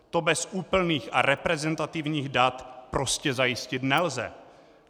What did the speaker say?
To bez úplných a reprezentativních dat prostě zajistit nelze.